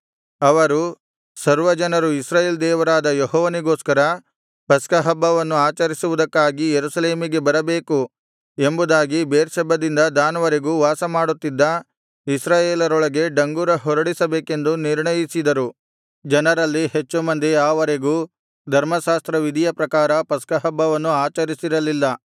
ಅವರು ಸರ್ವಜನರು ಇಸ್ರಾಯೇಲ್ ದೇವರಾದ ಯೆಹೋವನಿಗೋಸ್ಕರ ಪಸ್ಕಹಬ್ಬವನ್ನು ಆಚರಿಸುವುದಕ್ಕಾಗಿ ಯೆರೂಸಲೇಮಿಗೆ ಬರಬೇಕು ಎಂಬುದಾಗಿ ಬೇರ್ಷೆಬದಿಂದ ದಾನ್ ವರೆಗೂ ವಾಸಮಾಡುತ್ತಿದ್ದ ಇಸ್ರಾಯೇಲರೊಳಗೆ ಡಂಗುರ ಹೊಡಿಸಬೇಕೆಂದು ನಿರ್ಣಯಿಸಿದರು ಜನರಲ್ಲಿ ಹೆಚ್ಚು ಮಂದಿ ಆ ವರೆಗೂ ಧರ್ಮಶಾಸ್ತ್ರವಿಧಿಯ ಪ್ರಕಾರ ಪಸ್ಕಹಬ್ಬವನ್ನು ಆಚರಿಸಿರಲಿಲ್ಲ